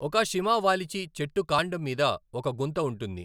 ఒక షిమా వాలిచి చెట్టు కాండం మీద ఒక గుంత ఉంటుంది.